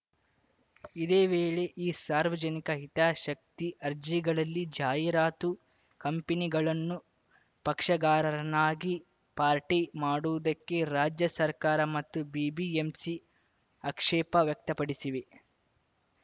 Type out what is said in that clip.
ಇದೇ ವೇಳೆ ಈ ಸಾರ್ವಜನಿಕ ಹಿತಾಶಕ್ತಿ ಅರ್ಜಿಗಳಲ್ಲಿ ಜಾಹೀರಾತು ಕಂಪನಿಗಳನ್ನು ಪಕ್ಷಗಾರರನ್ನಾಗಿ ಪಾರ್ಟಿ ಮಾಡುವುದಕ್ಕೆ ರಾಜ್ಯ ಸರ್ಕಾರ ಮತ್ತು ಬಿಬಿಎಂಸಿ ಆಕ್ಷೇಪ ವ್ಯಕ್ತಪಡಿಸಿವೆ